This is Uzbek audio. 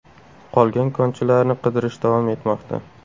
Qolgan konchilarni qidirish davom etmoqda.